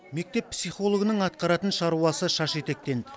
мектеп психологының атқаратын шаруасы шаш етектен